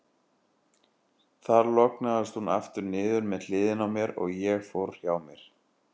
Þar lognaðist hún aftur niður með hliðinni á mér, og ég fór hjá mér.